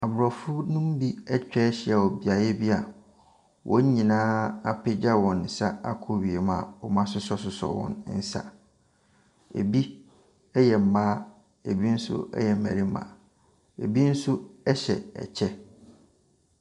Aborɔfonom bi atwa ahyia wɔ beaeɛ bi a wɔn nyinaa apagya wɔn nsa akɔ wiem a wɔasosɔsosɔ wɔn nsa, bi yɛ mmaa, bi nso yɛ mmarima, bi nso hyɛ kyɛ.